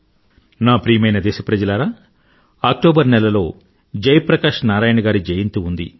నా ప్రియమైన దేశప్రజలారా అక్టోబర్ నెలలో జయ ప్రకాశ్ నారాయణ్ గారి జయంతి ఉంది